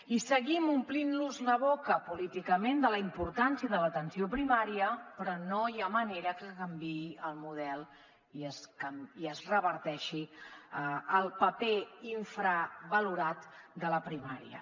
i seguim omplint nos la boca políticament de la importància de l’atenció primària però no hi ha manera que canviï el model i es reverteixi el paper infravalorat de la primària